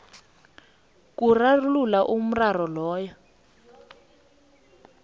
kurarulula umraro loyo